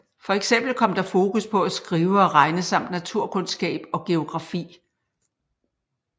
For eksempel kom der fokus på at skrive og regne samt naturkundskab og geografi